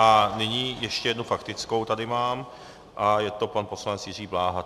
A nyní ještě jednu faktickou tady mám a je to pan poslanec Jiří Bláha.